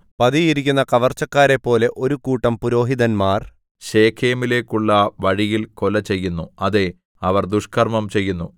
പതിയിരിക്കുന്ന കവർച്ചക്കാരെപ്പോലെ ഒരു കൂട്ടം പുരോഹിതന്മാർ ശെഖേമിലേക്കുള്ള വഴിയിൽ കൊല ചെയ്യുന്നു അതേ അവർ ദുഷ്കർമ്മം ചെയ്യുന്നു